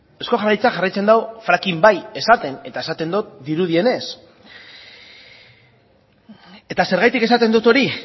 eusko jaurlaritzak jarraitzen du fracking bai esaten eta esaten dut dirudienez eta zergatik esaten dut hori